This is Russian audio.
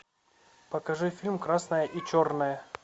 покажи фильм красное и черное